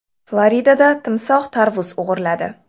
Floridada timsoh tarvuz o‘g‘irladi.